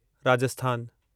राजस्थानु